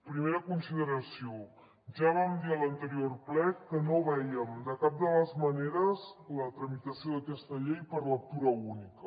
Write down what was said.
primera consideració ja vam dir a l’anterior ple que no veiem de cap de les maneres la tramitació d’aquesta llei per lectura única